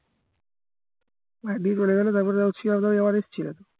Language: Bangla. মানে বীর চলে গেলো তারপরে সিয়ালদাও আবার এসছিল